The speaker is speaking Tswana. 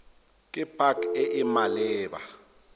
ke pac e e maleba